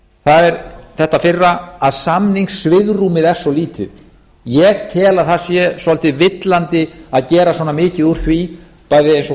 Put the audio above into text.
það er þetta fyrra að samningssvigrúmið er svo lítið ég tel að það sé svolítið villandi að gera svona mikið úr því bæði eins og